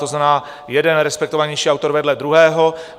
To znamená, jeden respektovanější autor vedle druhého.